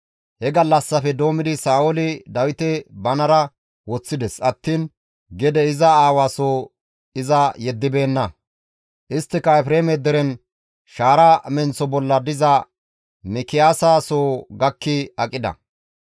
He gallassafe doommidi Sa7ooli Dawite banara woththides attiin gede iza aawa soo iza yeddibeenna. Isttika Efreeme deren shaara menththo bolla diza Mikiyaasa soo gakki aqida.